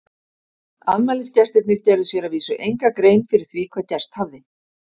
Afmælisgestirnir gerðu sér að vísu enga grein fyrir því hvað gerst hafði.